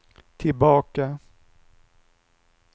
tillbaka